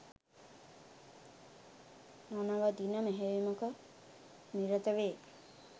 නොනවතින මෙහෙයුමක නිරත වේ